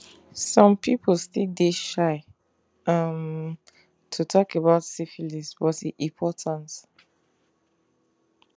some people still dey shy um to talk about syphilis but e important